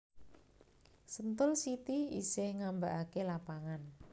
Sentul City isih ngambaake lapangan